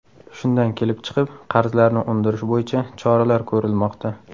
Shundan kelib chiqib, qarzlarni undirish bo‘yicha choralar ko‘rilmoqda.